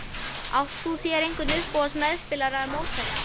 Átt þú þér einhvern uppáhalds meðspilara eða mótherja?